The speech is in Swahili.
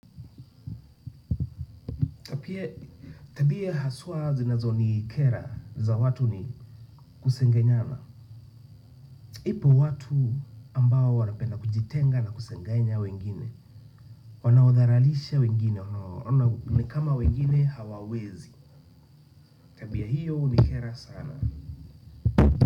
Tapie tabia haswa zinazonikera za watu ni kusengenyana. Ipo watu ambao wanapenda kujitenga na kusengenya wengine. Wanaudharalisha wengine, wanaona ni kama wengine hawawezi. Tabia, hiyo hunikera sana.